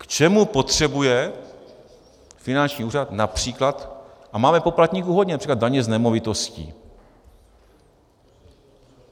K čemu potřebuje finanční úřad například - a máme poplatníků hodně - například daně z nemovitostí?